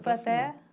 Foi até?